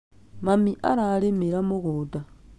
Mami ararĩmĩra mũgũnda